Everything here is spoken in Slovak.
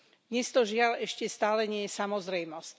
Dnes to, žiaľ, ešte stále nie je samozrejmosť.